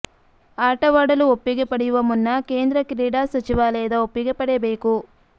ಆಟವಾಡಲು ಒಪ್ಪಿಗೆ ಪಡೆಯುವ ಮುನ್ನ ಕೇಂದ್ರ ಕ್ರೀಡಾ ಸಚಿವಾಲಯದ ಒಪ್ಪಿಗೆ ಪಡೆಯಬೇಕು